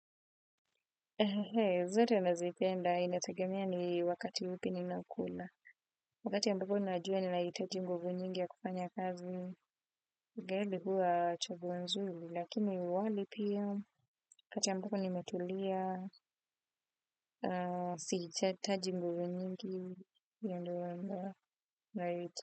Zote nazipenda inategemea ni wakati upi ninakula wakati ambapo najua ninahitaji nguvu nyingi ya kufanya kazi. Geli huwa chaguo nzuri lakini wali pia wakati ambapo nimetulia sihitataji nguvu nyingi ndo.